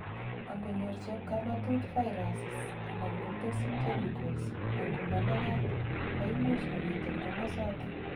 angonyor chepkamatut viruses anan ko toxic chemicals ango managat koimuch komiten komosoton